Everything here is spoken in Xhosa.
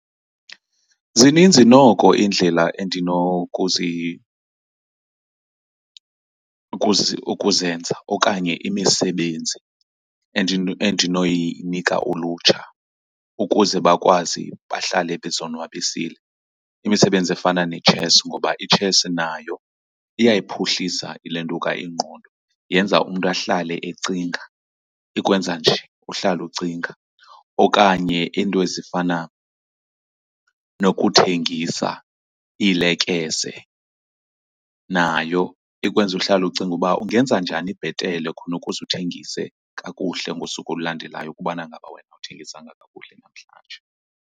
Zininzi noko iindlela ukuzenza okanye imisebenzi endinoyinika ulutsha ukuze bakwazi bahlale bezonwabisile. Imisebenzi efana netshesi ngoba itshesi nayo iyayiphuhlisa ilantuka ingqondo, yenza umntu ahlale ecinga, ikwenza nje uhlala ucinga. Okanye iinto ezifana nokuthengisa iilekese. Nayo ikwenza uhlale ucinga uba ungenza njani bhetele khona ukuze uthengise kakuhle ngosuku olulandelayo ukubana ngaba wena awuthengisanga kakuhle namhlanje.